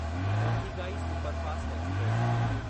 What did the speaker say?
Pothigai superfast express